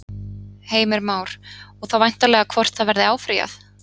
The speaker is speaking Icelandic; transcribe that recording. Heimir Már: Og þá væntanlega hvort að verði áfrýjað?